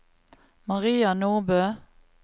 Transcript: Maria Nordbø